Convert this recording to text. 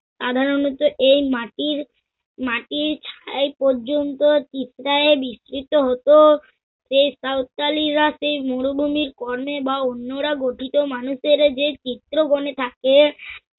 সাধারণত এই মাটির মাটির ছাই পর্যন্ত বিছড়ায় বিস্তৃত হত। সেই সাওতালিরা সেই মরুভূমির কণে বা অন্যরা গঠিত মানুষরা যে চিত্রগণে থাকে